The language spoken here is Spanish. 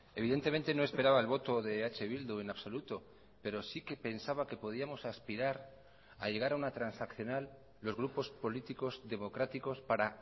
evidentemente no esperaba el voto de eh bildu en absoluto pero sí que pensaba que podíamos aspirar a llegar a una transaccional los grupos políticos democráticos para